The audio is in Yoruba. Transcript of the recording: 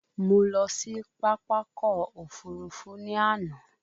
Mo lọ sí Pápákọ̀ òfurufú ní àná